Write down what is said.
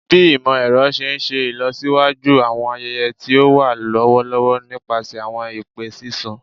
Bi imọ-ẹrọ ṣe n ṣe ilọsiwaju awọn ayẹyẹ ti o wa lọwọlọwọ nipasẹ awọn ipe sisun